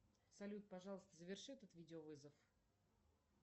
салют пожалуйста заверши этот видеовызов